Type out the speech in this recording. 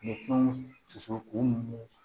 Ni fɛnw susu k'u muɲun